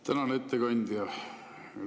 Tänan, ettekandja!